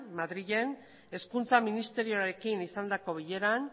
madrilen hezkuntza ministerioarekin izandako bileran